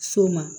So ma